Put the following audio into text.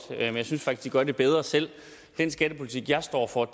men jeg synes faktisk de gør det bedre selv den skattepolitik jeg står for